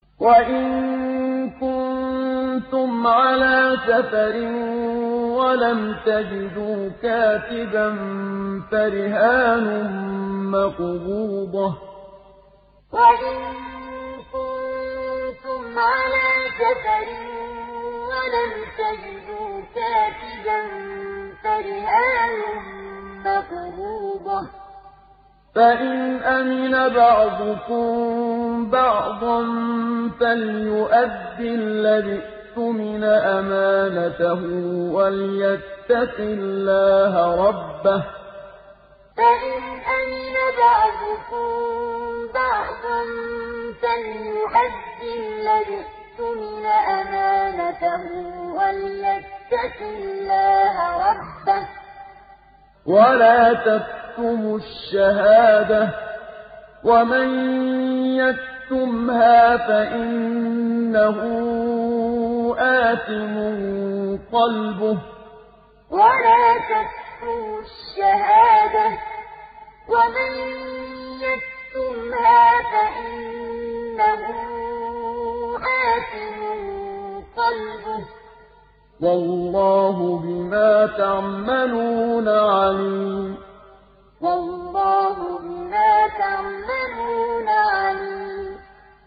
۞ وَإِن كُنتُمْ عَلَىٰ سَفَرٍ وَلَمْ تَجِدُوا كَاتِبًا فَرِهَانٌ مَّقْبُوضَةٌ ۖ فَإِنْ أَمِنَ بَعْضُكُم بَعْضًا فَلْيُؤَدِّ الَّذِي اؤْتُمِنَ أَمَانَتَهُ وَلْيَتَّقِ اللَّهَ رَبَّهُ ۗ وَلَا تَكْتُمُوا الشَّهَادَةَ ۚ وَمَن يَكْتُمْهَا فَإِنَّهُ آثِمٌ قَلْبُهُ ۗ وَاللَّهُ بِمَا تَعْمَلُونَ عَلِيمٌ ۞ وَإِن كُنتُمْ عَلَىٰ سَفَرٍ وَلَمْ تَجِدُوا كَاتِبًا فَرِهَانٌ مَّقْبُوضَةٌ ۖ فَإِنْ أَمِنَ بَعْضُكُم بَعْضًا فَلْيُؤَدِّ الَّذِي اؤْتُمِنَ أَمَانَتَهُ وَلْيَتَّقِ اللَّهَ رَبَّهُ ۗ وَلَا تَكْتُمُوا الشَّهَادَةَ ۚ وَمَن يَكْتُمْهَا فَإِنَّهُ آثِمٌ قَلْبُهُ ۗ وَاللَّهُ بِمَا تَعْمَلُونَ عَلِيمٌ